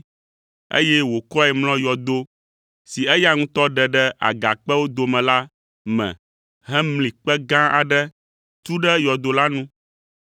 eye wòkɔe mlɔ yɔdo si eya ŋutɔ ɖe ɖe agakpewo dome la me hemli kpe gã aɖe tu ɖe yɔdo la nu.